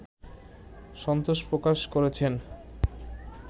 সন্তোষ প্রকাশ করেছেন